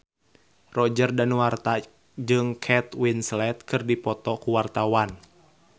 Roger Danuarta jeung Kate Winslet keur dipoto ku wartawan